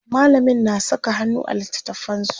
mallamin na Saka hannu a littatafansu